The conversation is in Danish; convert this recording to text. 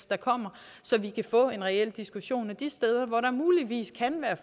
der kommer så vi kan få en reel diskussion af de steder hvor der muligvis kan være